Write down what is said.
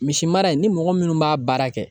Misimara in ni mɔgɔ minnu b'a baara kɛ